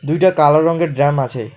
দুইটা কালো রঙ্গের ড্রাম আছে।